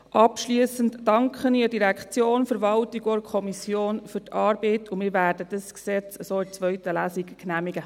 Abschliessend danke ich der Direktion, der Verwaltung und der Kommission für die Arbeit, und wir werden dieses Gesetz in der zweiten Lesung so genehmigen.